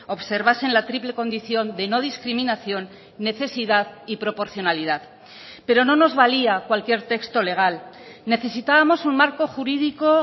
observasen la triple condición de no discriminación necesidad y proporcionalidad pero no nos valía cualquier texto legal necesitábamos un marco jurídico